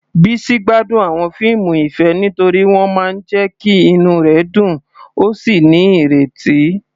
Bisi gbádùn àwọn fíìmù ìfẹ́ nítorí wọ́n máa ń jẹ́ kí inú rẹ̀ dùn ó sì ní ìrètí.